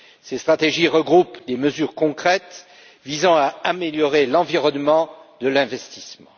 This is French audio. Ces stratégies regroupent des mesures concrètes visant à améliorer l'environnement de l'investissement.